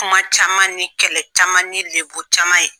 Kuma caman ni kɛlɛ caman ni degun caman ye